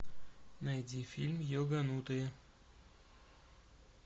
найди фильм йоганутые